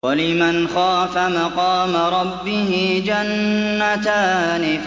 وَلِمَنْ خَافَ مَقَامَ رَبِّهِ جَنَّتَانِ